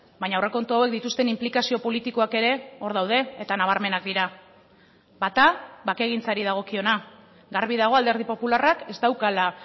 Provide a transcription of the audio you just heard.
baina aurrekontu hauek dituzten inplikazio politikoak ere hor daude eta nabarmenak dira bata bakegintzari dagokiona garbi dago alderdi popularrak ez daukala